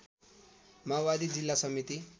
माओवादी जिल्ला समिति